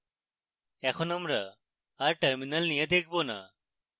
এখন আমরা আর terminal নিয়ে দেখবো না